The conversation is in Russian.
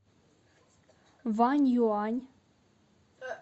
ваньюань